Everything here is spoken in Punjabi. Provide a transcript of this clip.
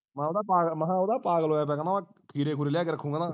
ਮੈਂਹ ਉਦੋਂ ਪਾਗਲ ਮੈਂ ਉਦੋਂ ਦਾ ਪਾਗਲ ਹੋਇਆ ਪਿਆ ਮੈਂ ਖਿਰੇ ਖੂਰੇ ਲਿਆ ਕੇ ਰੱਖੂੰਗਾ ਨਾ